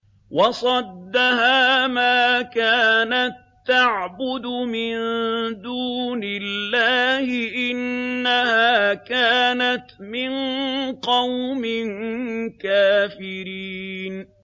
وَصَدَّهَا مَا كَانَت تَّعْبُدُ مِن دُونِ اللَّهِ ۖ إِنَّهَا كَانَتْ مِن قَوْمٍ كَافِرِينَ